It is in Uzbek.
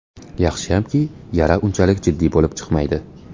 Yaxshiyamki, yara unchalik jiddiy bo‘lib chiqmaydi.